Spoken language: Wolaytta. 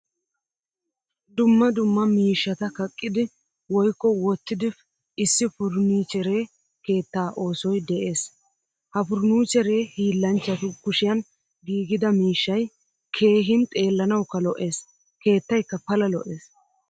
Dumma dumma miishshata kaqqidi woykko wottidp issi furnichchere keettaa oosoy de'ees. Ha furnichchere hiillanchchatu kushiyan giigida miishshay keehin xeellanawukka lo'ees. Keettaykka pala lo'ees.